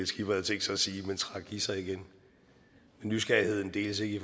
skipper havde tænkt sig at sige men trak i sig igen men nysgerrigheden deles ikke i